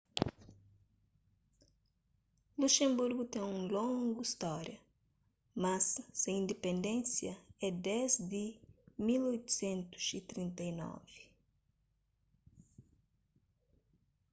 luxenburgu ten un longu stória mas se indipendénsia é desdi di 1839